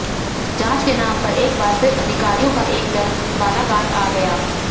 जांच के नाम पर एक बार फिर अधिकारियों का एक दल बालाघाट आ गया